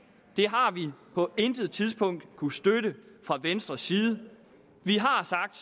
det har vi på intet tidspunkt kunnet støtte fra venstres side vi har sagt